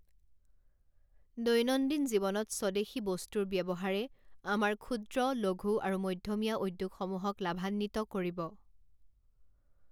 দৈনন্দিন জীৱনত স্বদেশী বস্তুৰ ব্যৱহাৰে আমাৰ ক্ষূদ্ৰ, লঘূ আৰু মধ্যমীয়া উদ্যোগসমূহক লাভান্বিত কৰিব।